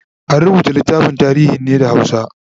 an rubuta littafin tarihin ne da hausa